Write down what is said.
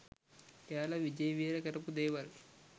එයාල විජේවීර කරපු දේවල්